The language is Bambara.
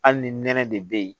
Hali ni nɛnɛ de be yen